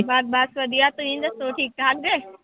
ਬਸ ਬਸ ਵਧੀਆ ਤੁਸੀਂ ਦੱਸੋ ਠੀਕ ਠਾਕ ਜੇ